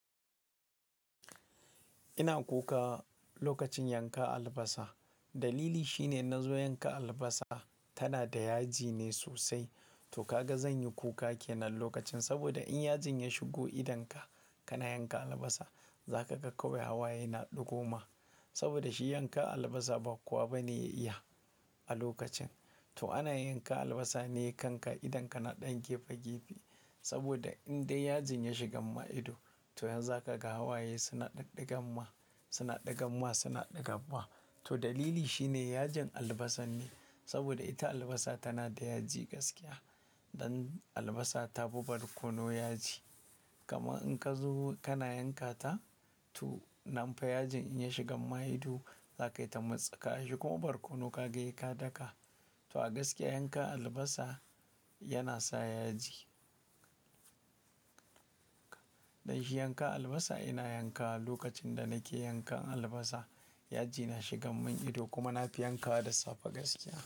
Ina kuka lokacin yanka albasa. Dalili shine na zo yanka albasa tana da yaji ne sosai. To ka ga zan yi kuka kenan lokacin saboda idan yajin ya shigo idonka kana yanka albasa, za ka ga kawai hawaye na ɗigo ma. Saboda shi yanka albasa ba kowa ba ne ya iya a lokacin. To ana yanka albasa ne kanka idon ka na ɗan gefe gefe. Saboda idan dai yajin ya shiga maka ido, to yanzu zaka ga hawaye suna ɗiga maka, suna ɗiga maka, suna ɗiga maka. To dalili shine yajin albasar ne. Saboda ita albasa tana da yaji gaskiya. Dan albasa ta fi barkono yaji. Kamar indan ka zo kana yanka ta, to nan fa yajin in ya shiga ma ido, za ka yi ta mutsika shi kuma barkono ka ga sai ka daka. To a gaskiya yanka albasa yana sa yaji. Don shi yanka albasa ina yanka, lokacin da nake yanka albasa yaji na shiga min ido kuma na fi yankawa da safe gaskiya.